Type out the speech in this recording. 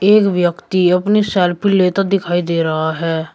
एक व्यक्ति अपनी सेल्फी लेता दिखाई दे रहा है।